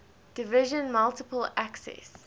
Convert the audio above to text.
division multiple access